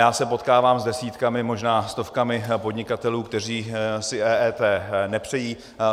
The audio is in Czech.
Já se potkávám s desítkami, možná stovkami podnikatelů, kteří si EET nepřejí.